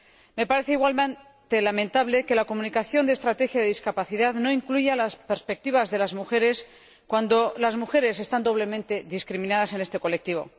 Me parece igualmente lamentable que la Comunicación sobre la Estrategia Europea sobre Discapacidad no incluya las perspectivas de las mujeres, cuando las mujeres están doblemente discriminadas en este colectivo.